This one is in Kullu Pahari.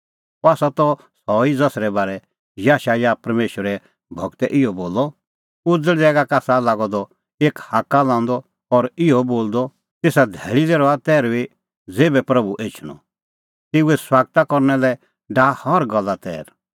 अह आसा त सह ई ज़सरै बारै याशायाह परमेशरे गूरै इहअ बोलअ त उज़ल़ ज़ैगा का आसा लागअ द एक हाक्का लांदअ और इहअ बोलदअ तेसा धैल़ी लै रहा तैर्हुई ज़ेभै प्रभू एछणअ तेऊए सुआगत करना लै डाहा हर गल्ला तैर